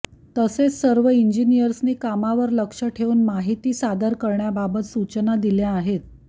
तसेच सर्व इंजिनियर्सनी कामावर लक्ष ठेवून माहिती सादर करण्याबाबत सूचना दिल्या आहेत